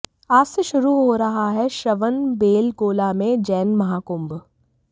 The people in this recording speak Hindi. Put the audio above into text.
आज से शुरू हो रहा है श्रवणबेलगोला में जैन महाकुंभ